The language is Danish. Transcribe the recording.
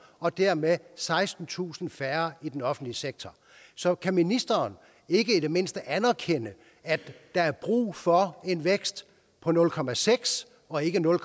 og dermed sekstentusind færre i den offentlige sektor så kan ministeren ikke i det mindste anerkende at der er brug for en vækst på nul procent og ikke nul